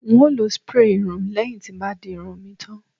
n o lo spray irun leyin ti n bá dirun mi tan